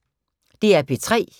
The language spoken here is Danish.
DR P3